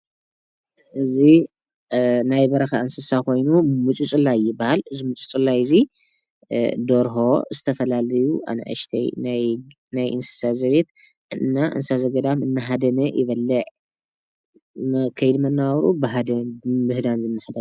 እዚ ናይ በረኻ እንስሳ ኮይኑ ሙጭጭላይ ይብሃል። እዚ ሙጭጭላይ እዚ ደርሆ፣ ዝተፈላለዩ ኣናእሽተይ ናይ እንስሳት ዘቤት እና እንስሳ ዘገዳም አናሃደነ ይበልዕ። ከይዲ መነባብሮኡ ብሃደን ብምህዳን ዝመሓደር።